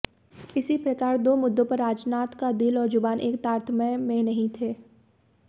इसी प्रकार दो मुद्दों पर राजनाथ का दिल और जुबान एक तारतम्य में नहीं थे